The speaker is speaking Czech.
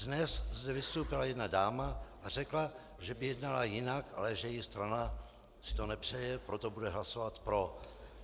Dnes zde vystoupila jedna dáma a řekla, že by jednala jinak, ale že její strana si to nepřeje, proto bude hlasovat pro.